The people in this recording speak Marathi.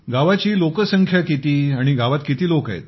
गावाची लोकसंख्या किती गावात किती लोक आहेत